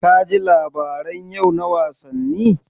Ka ji labaran yau na wasanni?